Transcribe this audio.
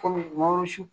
Kɔmi su